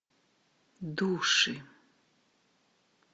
души